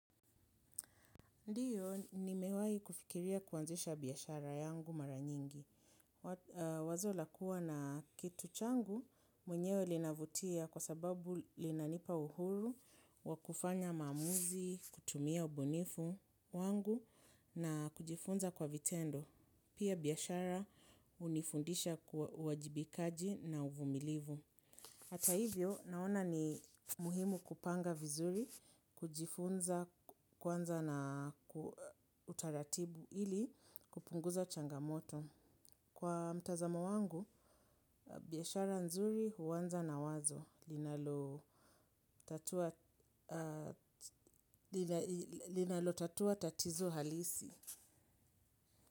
Ndiyo, nimewahi kufikiria kuanzisha biashara yangu mara nyingi. Wazo la kuwa na kitu changu mwenyewe linavutia kwa sababu linanipa uhuru, wakufanya maamuzi, kutumia obunifu wangu na kujifunza kwa vitendo. Pia biashara hunifundisha uwajibikaji na uvumilivu. Hata hivyo, naona ni muhimu kupanga vizuri, kujifunza, kwanza na utaratibu ili kupunguza changamoto. Kwa mtazama wangu, biashara nzuri huanza na wazo linalo linalo tatua tatizo halisi.